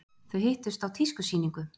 Þau hittust á tískusýningu.